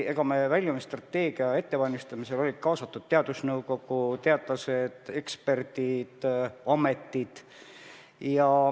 Ja väljumisstrateegia ettevalmistamisse olid kaasatud teadusnõukogu, teadlased, eksperdid, ametid.